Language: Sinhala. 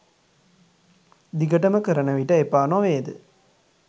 දිගටම කරන විට එපා නොවේද